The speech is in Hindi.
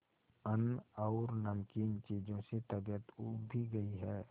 अन्न और नमकीन चीजों से तबीयत ऊब भी गई है